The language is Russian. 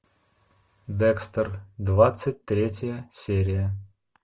декстер двадцать третья серия